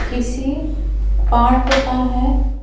किसी पार्क का है।